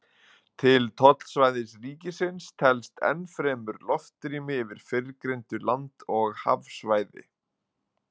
Til tollsvæðis ríkisins telst enn fremur loftrými yfir fyrrgreindu land- og hafsvæði.